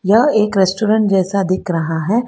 यह एक रेस्टोरेंट जैसा दिख रहा है।